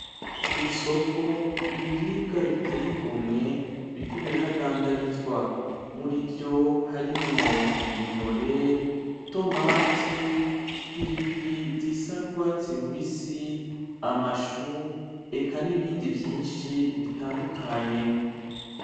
Kwisoko ibiribwa biteye igomwe biriko birahadandarizwa murivyo harimwo:intore ,itomate ,ipiripiri zisa n'urwatsi rubisi, amashu eka nibindi vyishi bitandukanye.